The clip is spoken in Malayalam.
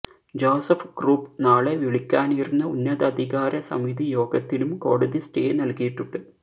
ജോസഫ് ഗ്രൂപ്പ് നാളെ വിളിക്കാനിരുന്ന ഉന്നതധികാര സമിതി യോഗത്തിനും കോടതി സ്റ്റേ നൽകിയിട്ടുണ്ട്